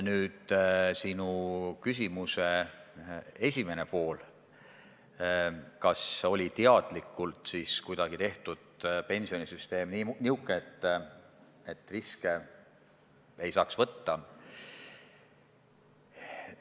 Nüüd, sinu küsimuse esimene pool: kas pensionisüsteem tehti kuidagi teadlikult niisugune, et riske ei saaks võtta?